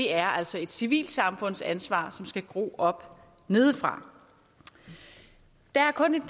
er altså et civilsamfundsansvar som skal gro op nedefra der er kun